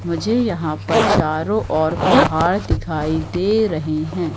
मुझे यहां पर चारों ओर पहाड़ दिखाई दे रहे हैं।